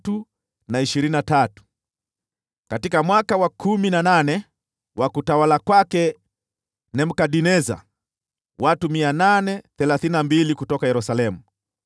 katika mwaka wa kumi na nane wa utawala wa Nebukadneza, watu 832 kutoka Yerusalemu;